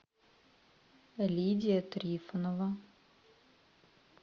лидия трифонова